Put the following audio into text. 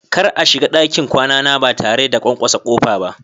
Kar a shiga dakin kwana na ba tare da kwankwasa ba.